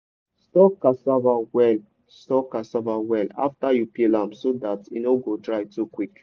store cassava well store cassava well after you peel am so dat e no go dry too quick.